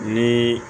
Ni